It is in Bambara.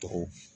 Tɔgɔ